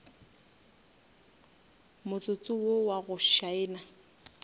motsotso wo wa go šaena